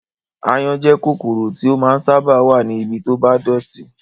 Áyán jẹ́ kòkòrò tí ó máa ń sábà wá ní ibi to bá dọ̀tí